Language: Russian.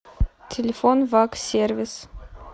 телефон ваг сервис